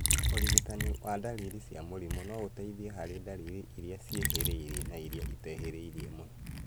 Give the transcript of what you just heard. ũrigitani wa ndariri cia mũrimũ no ũteithie harĩ ndariri irĩa ciĩhĩrĩirie na irĩa itehĩrĩirie mũno